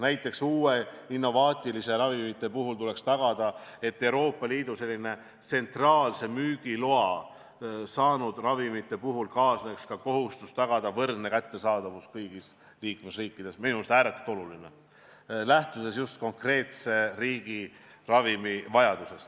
Näiteks tuleks uute, innovaatiliste ravimite puhul tagada, et Euroopa Liidu tsentraalse müügiloa saanud ravimitega kaasneks kohustus tagada võrdne kättesaadavus kõigis liikmesriikides, lähtudes just konkreetse riigi ravimivajadusest.